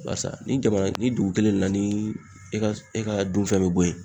Barisa ni jamana ni dugu kelen na ni e ka e ka dunfɛn be bɔ yen